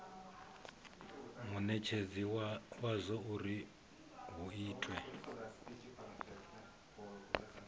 munetshedzi wadzo uri hu itwe